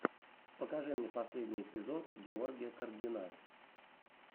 покажи мне последний эпизод георгия каргина